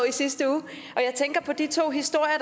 i sidste uge og jeg tænker på de to historier